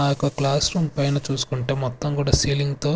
ఆ యొక్క class room పైన చూసుకుంటే మొత్తం కూడా సీలింగ్ తో.